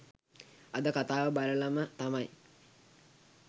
අද කථාව බලලම තමයි.